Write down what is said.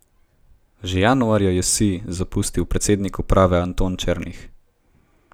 Že januarja je Sij zapustil predsednik uprave Anton Černih.